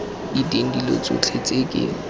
diteng dilo tsotlhe tse ke